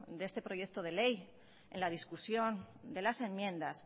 de este proyecto de ley en la discusión de las enmiendas